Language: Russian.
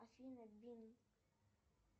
афина бин